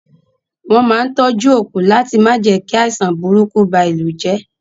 Wọn máa n tọjú òkú láti ma jẹ ki àìsàn burúkú ba ìlú jẹ.